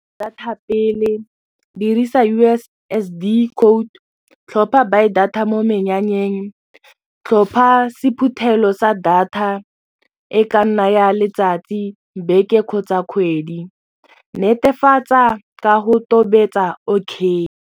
Data pele dirisa U_S_S_D code tlhopha buy data mo menyanyeng tlhopha sephuthelo sa data e ka nna ya letsatsi, beke kgotsa kgwedi netefatsa ka go tobetsa okay.